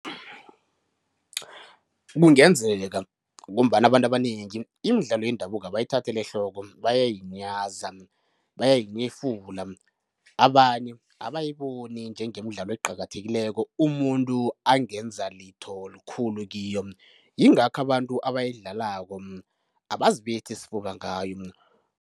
Kungenzeka ngombana abantu abanengi imidlalo yendabuko abayithatheli ehloko, bayayinyaza, bayayinyefula, abanye abayiboni njengemidlalo eqakathekileko umuntu angenza litho likhulu kiyo, yingakho abantu abayidlalako abazibethi isifuba ngayo.